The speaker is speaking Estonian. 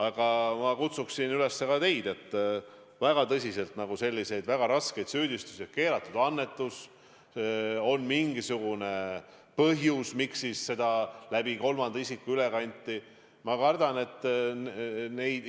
Aga ma kutsuksin üles ka teid väga tõsiselt kaaluma, kas ikka tasub esitada selliseid väga raskeid süüdistusi, et oli keelatud annetus, on mingisugune põhjus, miks seda läbi kolmanda isiku üle kanti jne.